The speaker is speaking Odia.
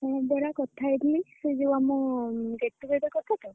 ହୁଁ ପରା କଥା ହେଇଥିଲି ସେ ଯୋଉ ଆମ get-together କଥା ତ?